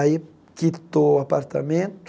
Aí quitou o apartamento,